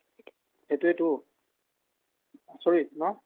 সেটোৱেটো আচৰিত ন